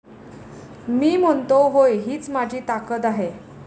मी म्हणतो होय हीच माझी ताकद आहे.